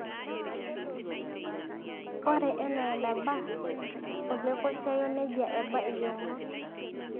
ore enaa enaba olekoisiayio nejia eba iyieunot